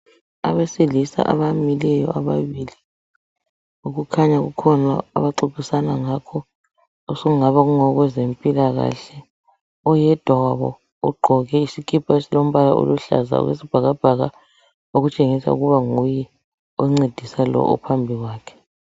Abesilisa abamileyo ababili. Okukhanya kukhona abaxoxisana ngakho, osekungaba kungokwezempilakahle. Oyedwa wabo ugqoke isikipa esilombala oluhlaza okwesibhakabhaka. Okutshengisa ukuba nguye oncedisa lo ophambi kwakhe.